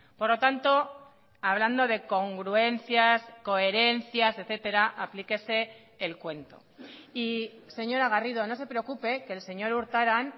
por lo tanto hablando de congruencias coherencias etcétera aplíquese el cuento y señora garrido no se preocupe que el señor urtaran